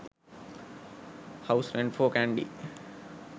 house rent for kandy